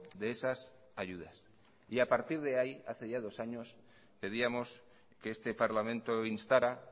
de esas ayudas y a partir de ahí hace ya dos años pedíamos que este parlamento instara